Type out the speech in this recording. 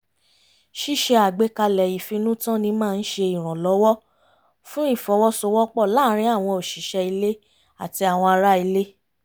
ṣíṣe àgbékalẹ̀ ìfinútànni máa ń ṣe ìrànlọ́wọ́ fún ìfọwọ́sowọ́pọ̀ láàrin àwọn òṣìṣẹ́ ilé àti àwọn ara ilé